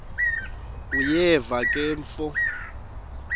uyeva ke mfo